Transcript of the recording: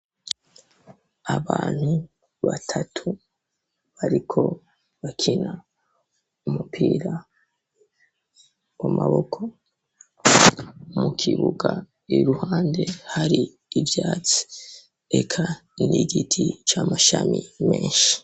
Abantu batatu bariko bakina umupira w'amaboko mu kibuga iruhande hari ivyatsi eka n'igiti c'amashami menshi.